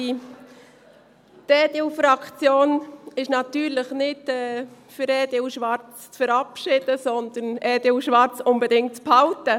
Die EDU-Fraktion ist natürlich nicht dafür, den Antrag EDU/Schwarz zu verabschieden, sondern will den Antrag EDU/Schwarz unbedingt behalten.